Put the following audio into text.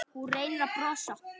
Hún reynir að brosa.